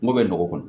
Ngo bɛ nɔgɔ kɔnɔ